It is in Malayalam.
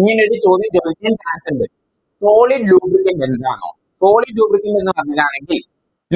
ഇങ്ങനെയൊരു ചോദ്യം ചോദിക്കാൻ Chance ഇണ്ട് Solid lubricant ൽ നിന്നാണോ Solid lubricant നിന്ന് വന്നതാണെങ്കിൽ